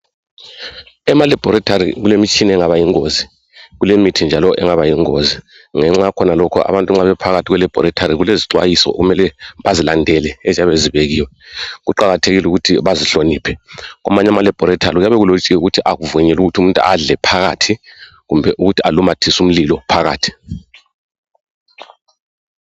Emalaboratory kulemitshina engaba yingozi kulemithi njalo engaba yingozi. Ngenxa yakhona lokhu abantu nxa bephakathi kwelaboratory kulezixwayiso okumele bazilandele eziyabe zibekiwe. Kuqakathekile ukuthi bazihloniphe. Kwamanye amalaboratory kuyabe kulotshiwe ukuthi akuvunyelwa ukuthi umuntu adle phakathi kumele ukuthi alumathise umlilo phakathi.